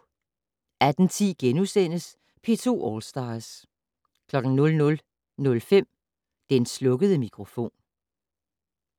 18:10: P2 All Stars * 00:05: Den slukkede mikrofon